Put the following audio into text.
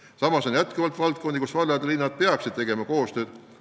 Samas on valdkondi, kus vallad ja linnad peaksid tegema paremat koostööd.